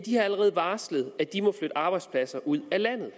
har allerede varslet at de må flytte arbejdspladser ud af landet